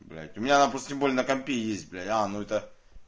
блять у меня она просто тем более на компе есть бля аа ну это